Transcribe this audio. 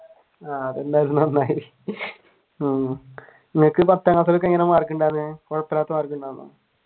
ഉം നിനക്ക് പത്താം ക്ലാസൊക്കെ എങ്ങനെയായിരുന്നു മാർക്ക് ഉണ്ടായിരുന്നത് കുഴപ്പമില്ലാത്ത മാർക്ക്